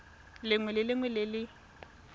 lengwe le lengwe le le